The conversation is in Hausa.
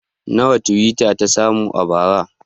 Nawa twitter ta samu a bara?